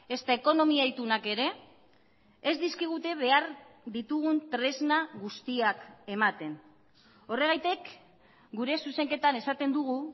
ezta ekonomia itunak ere ez dizkigute behar ditugun tresna guztiak ematen horregatik gure zuzenketan esaten dugu